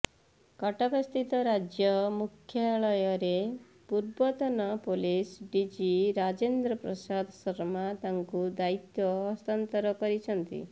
କଟକସ୍ଥିତ ରାଜ୍ୟ ମୁଖ୍ୟାଳୟରେ ପୂର୍ବତନ ପୋଲିସ ଡିଜି ରାଜେନ୍ଦ୍ର ପ୍ରସାଦ ଶର୍ମା ତାଙ୍କୁ ଦାୟିତ୍ୱ ହସ୍ତାନ୍ତର କରିଛନ୍ତି